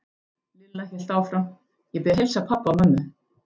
Lilla hélt áfram: Ég bið að heilsa pabba og mömmu.